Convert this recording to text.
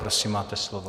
Prosím, máte slovo.